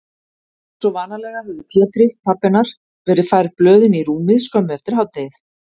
Einsog vanalega höfðu Pétri, pabba hennar, verið færð blöðin í rúmið skömmu eftir hádegið.